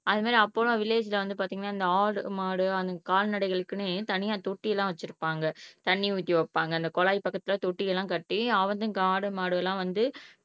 அது மாதிரி அப்போலாம் வில்லேஜ்ல வந்து பாத்தீங்கன்னா இந்த ஆடு, மாடு கால்நடைகளுக்குன்னே தனியா தொட்டி எல்லாம் வச்சிருப்பாங்க தண்ணி ஊத்தி வைப்பாங்க அந்த குழாய் பக்கத்துல தொட்டி எல்லாம் கட்டி ஆடு மாடுகள் எல்லாம் வந்து